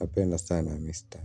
Napenda sana mistari.